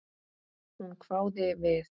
Hún hváði við.